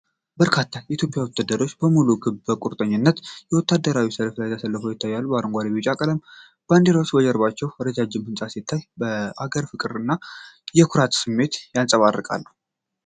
በርካታ የኢትዮጵያ ወታደሮች በሙሉ ክብርና በቁርጠኝነት በወታደራዊ ሰልፍ ተሰልፈው ይታያሉ። የአረንጓዴ፣ ቢጫ እና ቀይ ቀለማት ባንዲራዎች ከጀርባው ረጃጅም ህንፃ ሲታይ፤ የአገርን ፍቅር እና የኩራት ስሜትን ያንጸባርቃሉ።